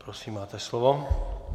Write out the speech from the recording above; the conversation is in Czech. Prosím, máte slovo.